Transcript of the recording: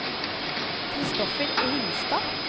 Christoffer Ringstad